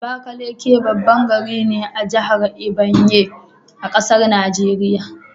Abakaliki baban gari ne a jahar Ebonyi,a ƙasar Nigeria